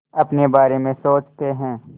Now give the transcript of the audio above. अपने बारे में सोचते हैं